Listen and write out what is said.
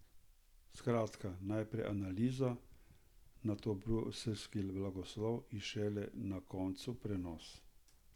Skratka, najprej analiza, nato bruseljski blagoslov in šele na koncu prenos.